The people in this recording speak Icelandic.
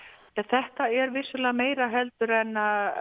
þetta er vissulega meira en